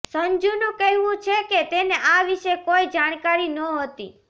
સંજૂનું કહેવું છે કે તેને આ વિશે કોઈ જાણકારી નહોતી